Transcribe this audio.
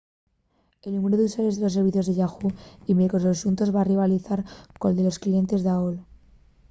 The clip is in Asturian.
el númberu d’usuarios de los servicios de yahoo! y microsoft xuntos va rivalizar col de los clientes d’aol